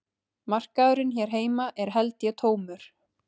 Markaðurinn hér heima er held ég tómur